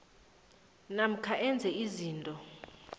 namkha enze izinto